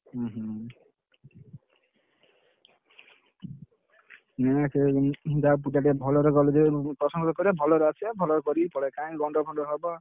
ଉହୁଁ ଭଲରେ ଭଲରେ procession କରିବ ଭଲରେ ଆସିବ ଭଲରେ କରିକି ପଳେଇବ କାଇଁ ଗଣ୍ଡଗୋଳ ଫଣ୍ଡଗୋଳ ହବ।